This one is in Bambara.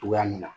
Togoya min na